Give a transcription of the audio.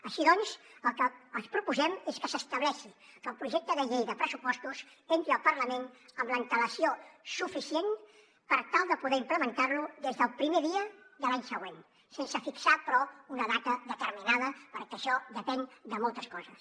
així doncs el que els proposem és que s’estableixi que el projecte de llei de pressupostos entri al parlament amb antelació suficient per tal de poder implementar lo des del primer dia de l’any següent sense fixar però una data determinada perquè això depèn de moltes coses